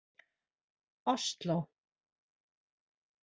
Osló